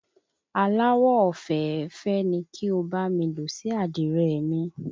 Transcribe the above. Aláwọ̀ ofèéfèé ni kí o bá mi ló sí Àdìrẹ mi.